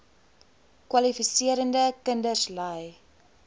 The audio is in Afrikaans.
kwalifiserende kinders ly